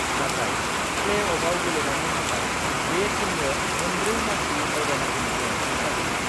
नाथाय प्लेअफआव गेलेनायनि थाखाय बे टीमनो मोनब्रै मासि आवगायनांगौनि गोनांथि जागोन।